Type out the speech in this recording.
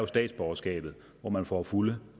statsborgerskab hvor man får fulde